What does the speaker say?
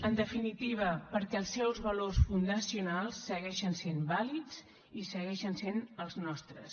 en definitiva perquè els seus valors fundacionals segueixen sent vàlids i segueixen sent els nostres